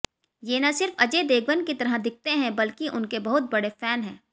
ये न सिर्फ अजय देवगन की तरह दिखते हैं बल्कि उनके बहुत बड़े फैन हैं